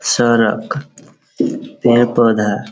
सारा पेड़-पौधा --